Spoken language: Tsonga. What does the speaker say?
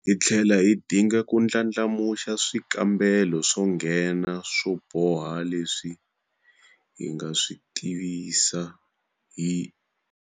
Hi tlhela hi dinga ku ndlandlamuxa swikambelo swo nghena swo boha leswi hi nga swi tivisa hi.